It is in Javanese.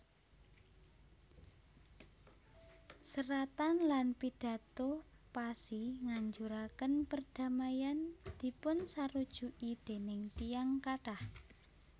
Seratan lan pidato Passy nganjuraken perdamaian dipunsarujuki déning tiyang kathah